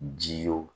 Ji ye wo